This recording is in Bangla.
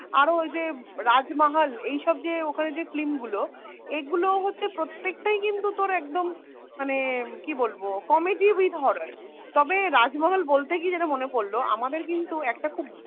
আরও ওই যে রাজমহল এইসব যে ওখানের যে film গুলো এগুলো হচ্ছে প্রত্যেকটাই কিন্তু তোর একদম মানে কি বলবো comedy with horror তবে রাজমহল বলতে গিয়ে মনে পড়লো আমাদের কিন্তু একটা খুব